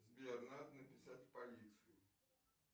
сбер надо написать в полицию